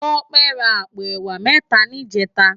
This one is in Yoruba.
Tope rá àpó èwá mètá nijètá